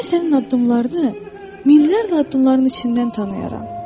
Mən sənin addımlarını, minlərlə addımların içindən tanıyaram.